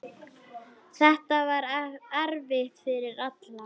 Þetta var erfitt fyrir alla.